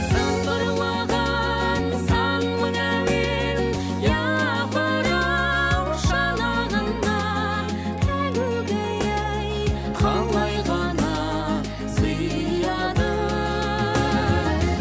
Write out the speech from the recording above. сыңғырлаған сан мың әуен япыр ау шанағына әгугай ай қалай ғана сияды